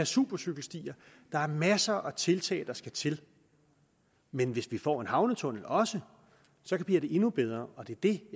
supercykelstier der er masser af tiltag der skal til men hvis vi får en havnetunnel også bliver det endnu bedre og det er det